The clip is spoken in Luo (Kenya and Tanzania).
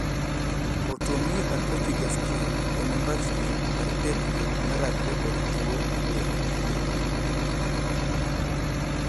Autoimmune atrophic gastritis en mbachni mar tekre marakre kod tuo edel.